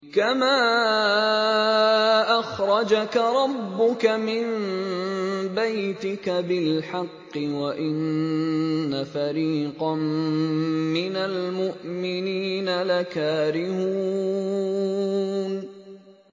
كَمَا أَخْرَجَكَ رَبُّكَ مِن بَيْتِكَ بِالْحَقِّ وَإِنَّ فَرِيقًا مِّنَ الْمُؤْمِنِينَ لَكَارِهُونَ